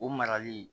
O marali